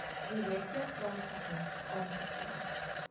projekte plaasvind aangesien